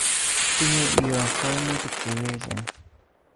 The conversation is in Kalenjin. Tinye iyoo koimutik cheyechen